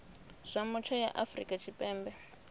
zwa mutsho ya afrika tshipembe